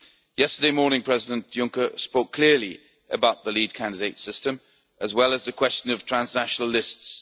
Yesterday morning President Juncker spoke clearly about the lead candidate system, as well as the question of transnational lists.